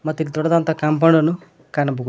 ಮತ್ ಇಲ್ ದೊಡ್ಡದಂತ ಕಾಂಪೌಂಡ್ ಅನ್ನು ಕಾಣಬಹು--